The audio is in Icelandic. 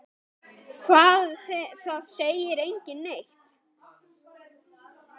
Hún er fyrsta barn.